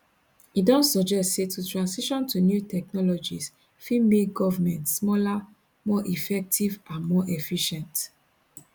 e don suggest say to transition to new technologies fit make govment smaller more effective and more efficient